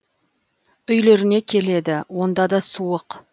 үйлеріне келеді онда да суық